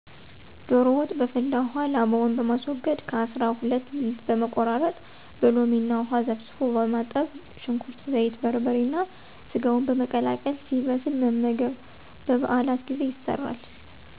ዶሮ ወጥ' በፈላ ውሃ ላባውን በማስወገድ ከ. አሰራ ሁለት ብልት በመቆራረጥ በሎሚ እና ውሃ ዘፍዝፎ በማጠብ ሽንኩርት፣ ዘይት፣ በርበሬ ጋር ሰጋውን በመቀላቀል ሲበስል መመገብ። በ. በዓላት ጊዜ ይሰራል።